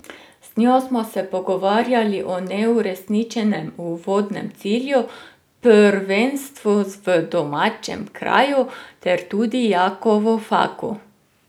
Z njo smo se pogovarjali o neuresničenem uvodnem cilju, prvenstvu v domačem kraju ter tudi Jakovu Faku.